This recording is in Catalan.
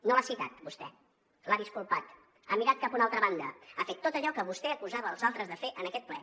no l’ha citat vostè l’ha disculpat ha mirat cap a una altra banda ha fet tot allò que vostè acusava als altres de fer en aquest ple